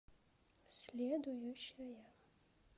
следующая